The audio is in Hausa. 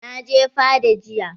Na je fada jiya.